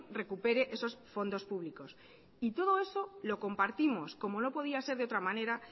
recupere esos fondos públicos y todo eso lo compartimos como no podía ser de otra manera